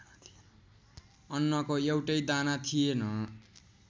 अन्नको एउटै दाना थिएन।